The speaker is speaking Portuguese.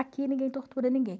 Aqui ninguém tortura ninguém.